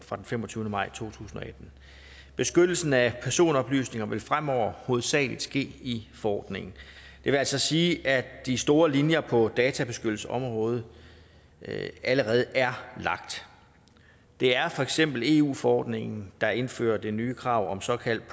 fra den femogtyvende maj to tusind og atten beskyttelsen af personoplysninger vil fremover hovedsagelig ske i forordningen det vil altså sige at de store linjer på databeskyttelsesområdet allerede er lagt det er for eksempel eu forordningen der indfører det nye krav om såkaldt